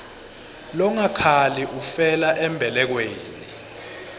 longakhali ufela embelekweni